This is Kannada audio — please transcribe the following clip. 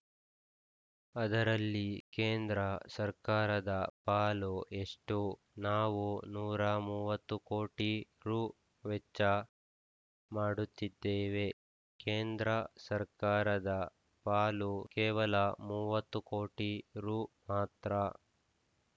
ಅದರಲ್ಲಿ ಕೇಂದ್ರ ಸರ್ಕಾರದ ಪಾಲು ಎಷ್ಟು ನಾವು ನೂರ ಮೂವತ್ತು ಕೋಟಿ ರು ವೆಚ್ಚ ಮಾಡುತ್ತಿದ್ದೇವೆ ಕೇಂದ್ರ ಸರ್ಕಾರದ ಪಾಲು ಕೇವಲ ಮೂವತ್ತು ಕೋಟಿ ರು ಮಾತ್ರ